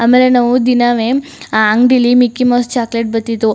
ಆಮೇಲೆ ನಾವು ದಿನಾವೆ ಆ ಅಂಗಡಿಲಿ ಮಿಕ್ಕಿ ಮೌಸ್ ಚಾಕೊಲೇಟ್ ಬತಿತ್ತು.